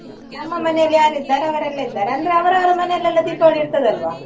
ನಮ್ಮ ಮನೆಯಲ್ಲಿ ಯಾರಿದ್ದಾರೆ ಅವರೆಲ್ಲ ಇದ್ದಾರೆ ಅಂದ್ರೆ ಅವರವರ ಮನೆಯಲೆಲ್ಲಾ ದೀಪಾವಳಿ ಇರ್ತದಲ್ವಾ.